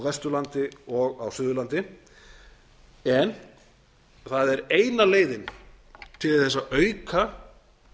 vesturlandi og á suðurlandi en það er eina leiðin til þess að auka